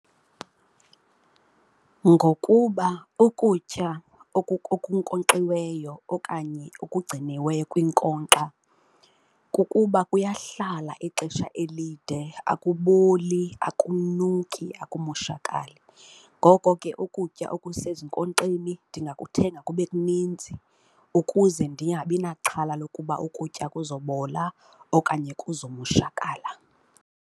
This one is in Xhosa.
Ngokuba ukutya okunkonkxiweyo okanye okugciniweyo kwinkonkxa kukuba kuyahlala ixesha elide akuboli, akunuki, akumoshakali. Ngoko ke ukutya okusezinkonkxeni ndingakuthengela kube kuninzi ukuze ndingabi naxhala lokuba ukutya kuzobola okanye kuzomoshakala.